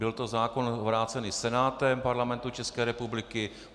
Byl to zákon vrácený Senátem Parlamentu České republiky.